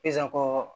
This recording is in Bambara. Sisan ko